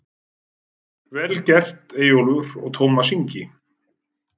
Vel gert Eyjólfur og Tómas Ingi.